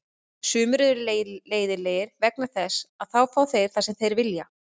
Sumir eru leiðinlegir vegna þess að þá fá þeir það sem þeir vilja.